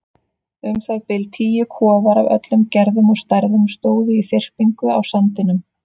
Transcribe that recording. Um það bil tíu kofar af öllum gerðum og stærðum stóðu í þyrpingu á sandinum.